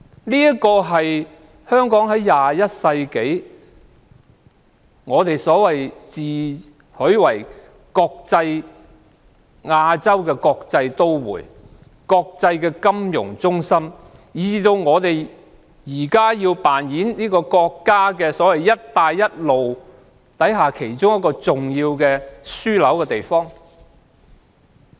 這是21世紀的香港，我們自詡為亞洲國際都會、國際金融中心，現時亦要扮演國家"一帶一路"構想下，其中一個重要的樞紐地區。